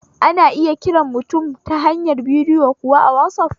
Ana iya kiran mutum ta hanyar bidiyo kuwa a wasaf